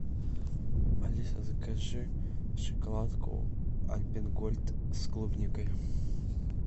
алиса закажи шоколадку альпен гольд с клубникой